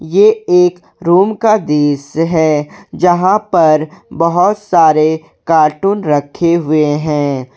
ये एक रूम का दृश्य है यहां पर बहुत सारे कार्टून रखे हुए हैं।